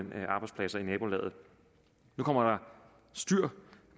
arbejdspladser i nabolaget nu kommer der styr